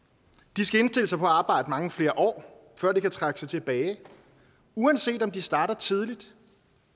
de skal indstille sig på at arbejde mange flere år før de kan trække sig tilbage uanset om de starter tidligt